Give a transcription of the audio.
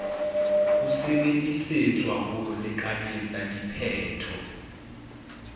ho sebedisetswa ho lekanyetsa diphetho